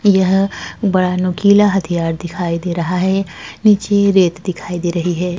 यह बड़ा नुकीला हथियार दिखाई दे रहा है। नीचे रेत दिखाई दे रही हैं।